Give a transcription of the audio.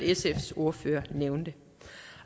sfs ordfører nævne